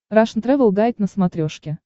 рашн тревел гайд на смотрешке